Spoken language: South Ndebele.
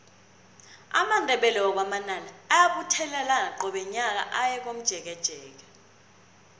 amandebele wakwa manala ayabuthelana qobe nyaka aye komjekejeke